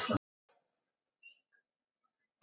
Ég skil ekki í gæjanum að vera með svona stæla!